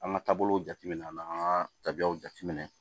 An ka taabolo jate minɛ an na an ka tabiyaw jateminɛ